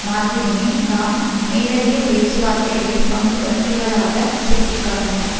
மாத்திரமே தாம் மேலதிக பேச்சுவார்த்தைகளில் பங்குபற்றுவதாக சுட்டி காட்டினார்